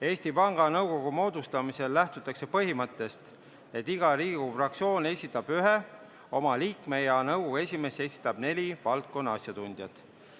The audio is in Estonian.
Eesti Panga Nõukogu moodustamisel lähtutakse põhimõttest, et iga Riigikogu fraktsioon esitab ühe oma liikme ja nõukogu esimees esitab neli valdkonna asjatundjat.